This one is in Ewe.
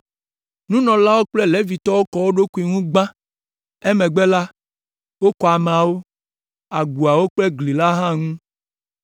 Nunɔlawo kple Levitɔwo kɔ wo ɖokuiwo ŋu gbã, emegbe la, wokɔ ameawo, agboawo kple gli la hã ŋu.